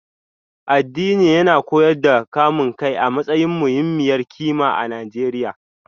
Addini yana koyar da kamun kai a matsayin muhimmiyar kima a Najeriya